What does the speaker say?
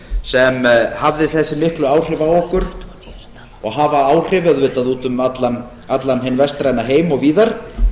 sem hafði þessi miklu áhrif á okkur og hafa áhrif auðvitað út um allan hinn vestræna heim og víðar